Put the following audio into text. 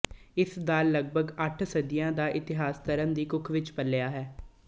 ਇਸ ਦਾ ਲਗਭਗ ਅੱਠ ਸਦੀਆਂ ਦਾ ਇਤਿਹਾਸ ਧਰਮ ਦੀ ਕੁੱਖ ਵਿੱਚ ਪਲਿਆ ਹੈ